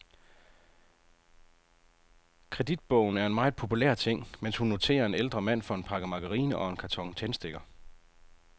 Kreditbogen er en meget populær ting, mens hun noterer en ældre mand for en pakke margarine og en karton tændstikker.